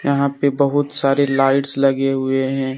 यहां पे बहुत सारे लाइट्स लगे हुए हैं।